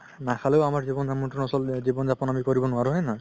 নাখালেও আমাৰ জিৱন জাপান নচলে জিৱন জাপান আমি কৰিব নোৱাৰো হয় নে নহয়